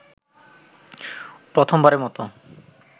প্রথমবারের মতো